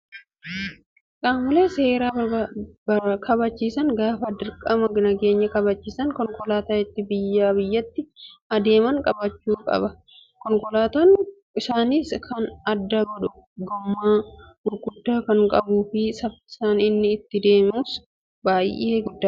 Qaamoleen seera kabachiisan gaafa dirqama nageenya kabachiisan konkolaataa ittiin biyyaa biyyatti adeeman qabaachuu qabu. Konkolaataa isaaniis kan adda godhu gommaa gurguddaa kan qabuu fi saffisni inni ittiin deemus baay'ee guddaadha.